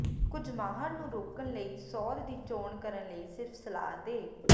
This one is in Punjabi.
ਕੁਝ ਮਾਹਰ ਨੂੰ ਰੋਕਣ ਲਈ ਸੋਧ ਦੀ ਚੋਣ ਕਰਨ ਲਈ ਸਿਰਫ ਸਲਾਹ ਦੇ